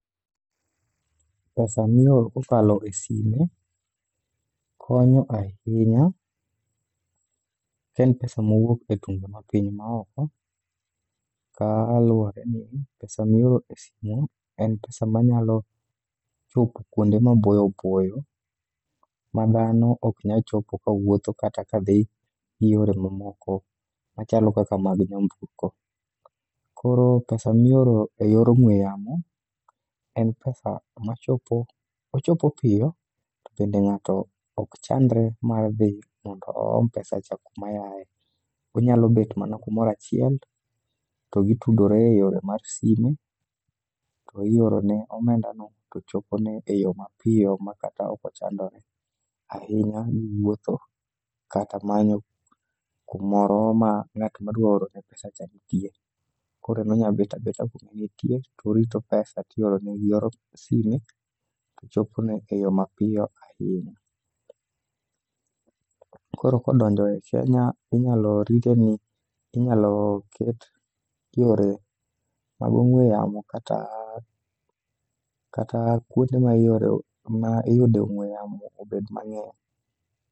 Pesa mioro kokalo e sime konyo ahinya ka en pesa mowuok e tunge ma piny maoko. Kaluwore ni pesa mioro e sim en pesa ma nyalo chopo kuonde maboyo boyo ma dhano ok nyachopo kawuotho kata ka dhi gi yore mamoko machalo kaka mag nyamburko. Koro pes mioro e yor ong'we yamo en pesa ma chop, ochopo piyo to bende ng'ato ok chandre mar dhi mondo oom pesa cha kuma yaye. Onyalo bet mana kumorachiel to gitudore e yore mar simu, to iorone omenda no to chopone e yo ma piyo ma kata ochandore. Ahinya niwuotho kata manyo kumoro ma ng'at ma dwa orone pesa cha nitie. Koro en onyabet abeta kuma entie torito pesa tiorone gi yor sime, to chopone e yo mapiyo ahinya. Koro kodonjo e Kenya, inyalo rite ni inyalo ket yore mag ong'we yamo kata kuonde ma iore ma iyude ong'we yamo obed mang'eny.